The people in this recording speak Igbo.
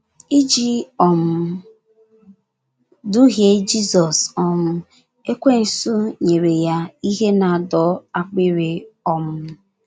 Iji um duhie Jizọs um, Ekwensu nyere ya ihe na - adọ akpịrị um.